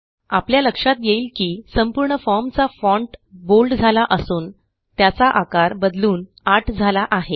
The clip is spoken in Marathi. आपल्या लक्षात येईल की संपूर्ण फॉर्म चा फॉन्ट बोल्ड झाला असून त्याचा आकार बदलून आठ झाला आहे